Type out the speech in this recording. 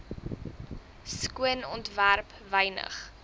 skoon ontwerp wynig